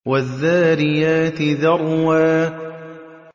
وَالذَّارِيَاتِ ذَرْوًا